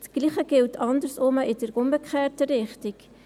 Das Gleiche gilt in umgekehrter Richtung.